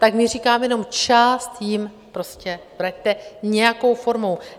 Tak my říkáme jenom, část jim prostě vraťte nějakou formou.